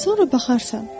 Sonra baxarsan.